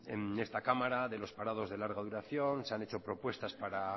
en esta cámara de los parados de larga duración se han hecho propuestas para